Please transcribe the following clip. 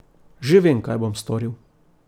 Že vem, kaj bom storil.